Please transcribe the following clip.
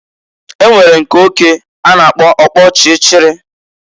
E nwere nke oke a na-apkọ ọkpọchịchịrị.